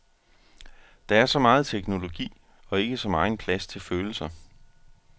Der er så meget teknologi, og ikke så megen plads til følelser.